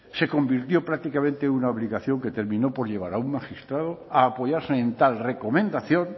se convirtió prácticamente en una obligación que terminó por llevar a un magistrado a apoyarse en tal recomendación